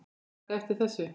taka eftir þessu